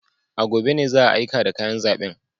A gobe ne za a aika da kayan zaben.